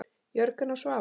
Jörgen og Svava.